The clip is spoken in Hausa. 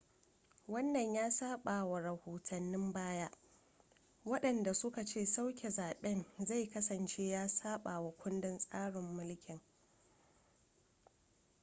wannan ya sabawa rahotannin baya wadanda suka ce sauke zaben zai kasance ya sabawa kundin tsarin mulki